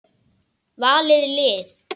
Valið lið.